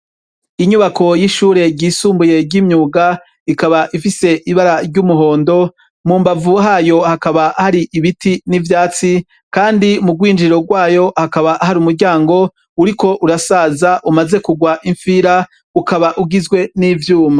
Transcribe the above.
Inyubako yishure ryisumbuye ryimyuga ikaba ifise ibara ryumuhondo mumbavu hayo hakaba hari ibiti nivyatsi kandi mugwinjiriro gwayo hakaba hari umuryango uriko urasaza umaze kugwa imfira ukaba ugizwe nivyuma